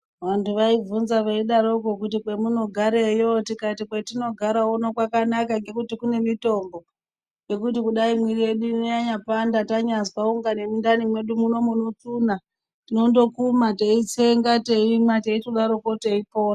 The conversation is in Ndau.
Vantu vaivhunza veidaroko kuti kwemunogareyo tikati kwetinogara uno kwakanaka nekuti kune mitombo. Ngekuti kudai mwiiri yedu ino yanyapanda, tanyaazwa kunga nemundani mwedu munotsuna tinondokuma teitsenga teimwa, teitodaroko teipona.